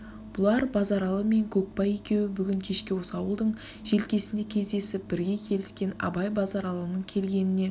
бұлар базаралы мен көкбай екеуі бүгін кешке осы ауылдың желкесінде кездесіп бірге келіскен абай базаралының келгеніне